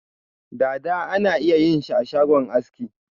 Dada ana iya yin shi ashagon aski.